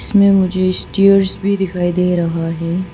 इसमें मुझे स्टेयर्स भी दिखाई दे रहा है।